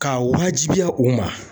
K'a wajibiya u ma.